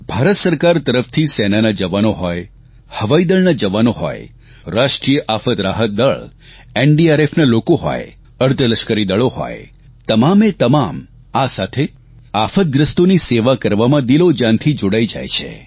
ભારત સરકાર તરફથી સેનાના જવાનો હોય હવાઇદળના જવાનો હોય રાષ્ટ્રીય આફત રાહત દળ એનડીઆરએફના લોકો હોય અર્ધલશ્કરી દળો હોય તમામે તમામ આ સાથે આફતગ્રસ્તોની સેવા કરવામાં દિલોજાનથી જોડાઇ જાય છે